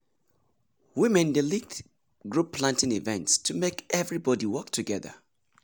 women dey lead group planting events to make everybody work together.